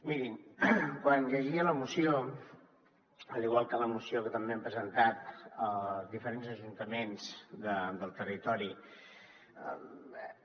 mirin quan llegia la moció igual que la moció que també han presentat diferents ajuntaments del territori